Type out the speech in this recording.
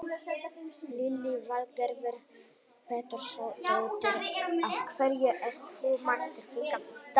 Lillý Valgerður Pétursdóttir: Af hverju ert þú mættur hingað í dag?